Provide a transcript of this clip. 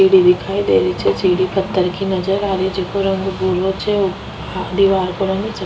सीढ़ी दिखाई देरही छे सीढ़ी पत्थर की नजर आ रही छे जेको रंग भूरो छे दिवार को रंग स --